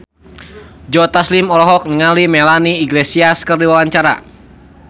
Joe Taslim olohok ningali Melanie Iglesias keur diwawancara